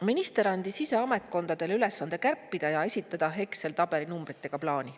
Minister andis ise ametkondadele ülesande kärpida ja esitada Exceli tabeli numbritega plaan.